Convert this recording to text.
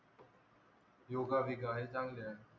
योगा बिगा हे चांगले आहे.